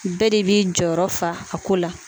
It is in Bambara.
Bɛɛ de b'i jɔyɔrɔ fa a ko la